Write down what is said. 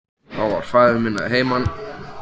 Þá var faðir minn að heiman.